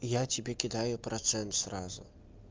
я тебе кидаю процент сразу